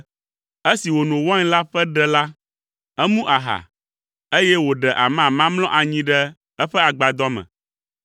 Esi wòno wain la ƒe ɖe la, emu aha, eye wòɖe amama mlɔ anyi ɖe eƒe agbadɔ me.